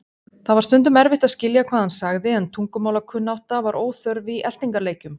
Það var stundum erfitt að skilja hvað hann sagði en tungumálakunnátta var óþörf í eltingarleikjum.